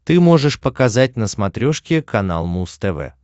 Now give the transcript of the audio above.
ты можешь показать на смотрешке канал муз тв